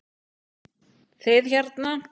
Þið hérna.